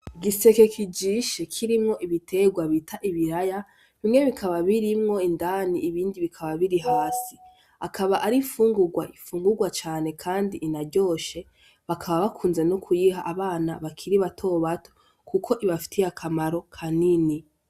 Igiseke kijishe kirimwo ibiterwa bita ibiriya bimwe bikaba birimwo indani ibindi bikaba biri hasi akaba ari infungurwa ifungurwa cane kandi inaryoshe bakaba bakunze no kuyiha abana bakiri bato bato kuko ibafitiye akamaro kanini.